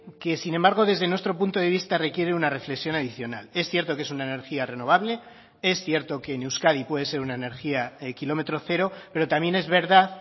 que sin embargo desde nuestro punto de vista requiere una reflexión adicional es cierto que es una energía renovable es cierto que en euskadi puede ser una energía kilómetro cero pero también es verdad